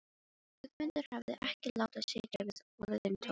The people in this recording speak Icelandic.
Guðmundur hafði ekki látið sitja við orðin tóm.